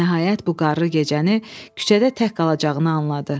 Nəhayət bu qarlı gecəni küçədə tək qalacağını anladı.